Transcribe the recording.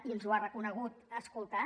i ens ho ha reconegut escoltat